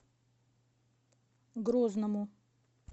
грозному